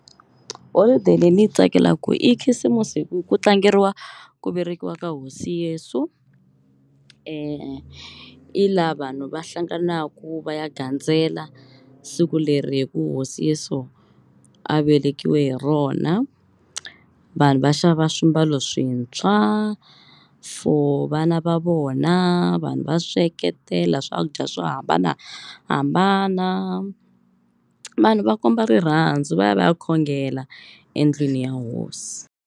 Holiday leyi ndzi yi tsakelaka ku i khisimusi hi ku ku tlangeriwa ku velekiwa ka Hosi Yesu i laha vanhu va hlanganaka va ya gandzela siku leri hi ku Hosi Yeso a velekiwe hi rona. Vanhu va xava swimbalo swintshwa for vana va vona. Vanhu va sweketela swakudya swo hambanahambana vanhu va komba rirhandzu va ya va ya khongela endlwini ya hosi.